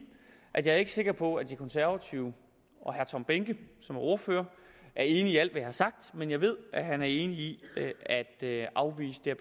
at jeg ikke er sikker på at de konservative og herre tom behnke som ordfører er enig i alt hvad jeg har sagt men jeg ved at han er enig i at afvise det